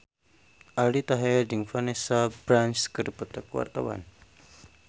Aldi Taher jeung Vanessa Branch keur dipoto ku wartawan